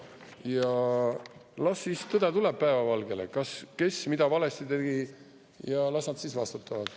Ja las siis tõde tuleb päevavalgele, kes mida valesti tegi, ja las nad siis vastutavad.